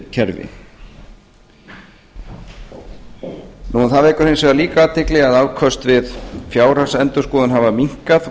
kerfi það vekur hins vegar líka athygli að afköst við fjárhagsendurskoðun hafa minnkað og